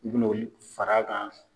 U bina o de fara kan